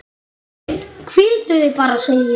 Hvíldu þig bara, segi ég.